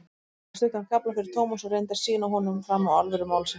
Hún las stuttan kafla fyrir Thomas og reyndi að sýna honum fram á alvöru málsins.